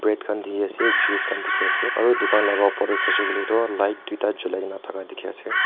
bread khan dikhi ase juice khan dikhi ase aru dukan laga upor teh sai se koiley toh light duita jolai na thaka dikhi ase.